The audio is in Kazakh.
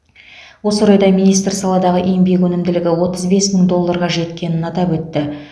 осы орайда министр саладағы еңбек өнімділігі отыз бес мың долларға жеткенін атап өтті